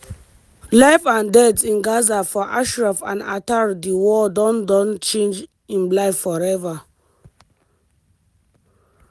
life and death in gaza for ashraf al attar di war don don change im life forever.